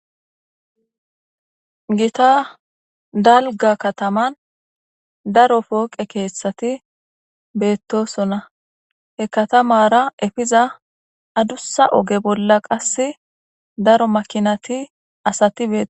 gita dalga kataman daro pooqe keethtshati beettosonna he katamara efiza adussa oge bolla qas daro makinati asati be